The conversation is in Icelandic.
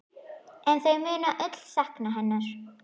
En þau munu öll sakna hennar.